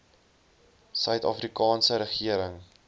suid afrikaanse regering